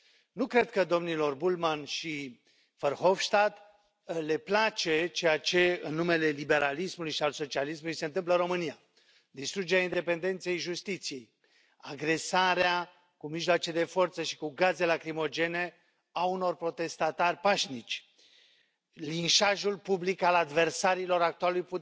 Nu cred că domnilor Bullmann și Verhofstadt le place ceea ce, în numele liberalismului și al socialismului, se întâmplă în România distrugerea independenței justiției, agresarea cu mijloace de forță și cu gaze lacrimogene a unor protestatari pașnici, linșajul public al adversarilor actualei